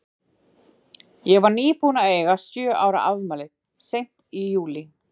Ég var nýbúin að eiga sjö ára afmælið, seint í júlí.